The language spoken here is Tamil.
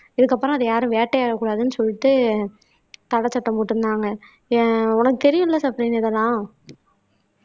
இதுக்கப்புறம் அதை யாரும் வேட்டையாடக்கூடாதுன்னு சொல்லிட்டு தடை சட்டம் போட்டிருந்தாங்க உனக்கு தெரியும்ல சஃப்ரின்னு இதெல்லாம்